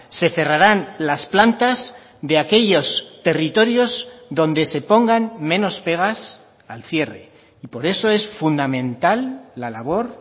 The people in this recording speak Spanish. se cerrarán las plantas de aquellos territorios donde se pongan menos pegas al cierre y por eso es fundamental la labor